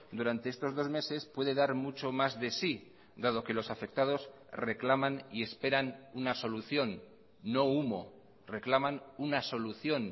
durante estos dos meses puede dar mucho más de sí dado que los afectados reclaman y esperan una solución no humo reclaman una solución